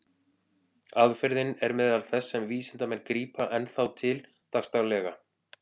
Aðferðin er meðal þess sem vísindamenn grípa enn þá til dagsdaglega.